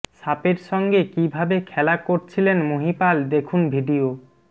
সাপের সঙ্গে কী ভাবে খেলা করছিলেন মহিপাল দেখুন ভিডিয়ো